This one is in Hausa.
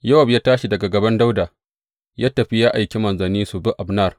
Yowab ya tashi daga gaban Dawuda ya tafi ya aika manzanni su bi Abner.